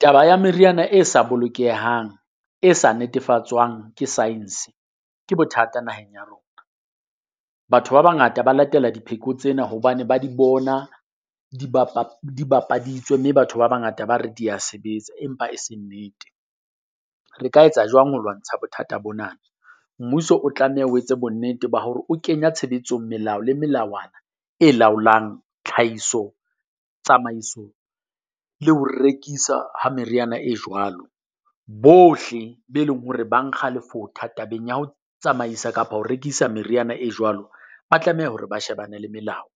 Taba ya meriana e sa bolokehang e sa netefatswang ke science, ke bothata naheng ya rona. Batho ba bangata ba latela dipheko tsena hobane ba di bona di di bapaditswe, mme batho ba bangata ba re dia sebetsa empa e se nnete. Re ka etsa jwang ho lwantsha bothata bona? Mmuso o tlameha o etse bonnete ba hore o kenya tshebetsong melao le melawana e laolang tlhahiso, tsamaiso le ho rekisa ha meriana e jwalo. Bohle be leng hore ba nkga lefotha tabeng ya ho tsamaisa kapa ho rekisa meriana e jwalo, ba tlameha hore ba shebane le melao.